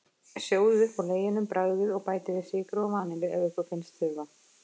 Sjóðið upp á leginum, bragðið, og bætið við sykri og vanillu ef ykkur finnst þurfa.